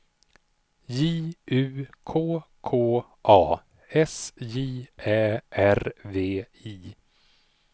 J U K K A S J Ä R V I